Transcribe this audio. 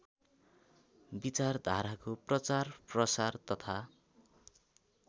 विचारधाराको प्रचारप्रसार तथा